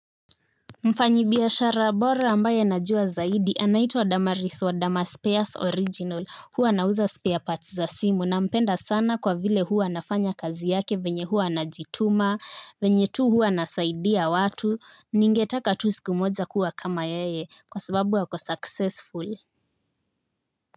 Mfanyibiashara bora ambaye anajua zaidi anaitwa damaris wa damaspears original huwa anauza spear parts za simu nampenda sana kwa vile huwa anafanya kazi yake venye huwa anajituma venye tu huwa anasaidia watu ningetaka tu siku moja kuwa kama yeye kwa sababu wako successfully.